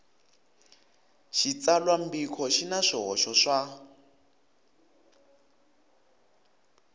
xitsalwambiko xi na swihoxo swa